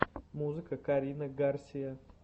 музыка карина гарсия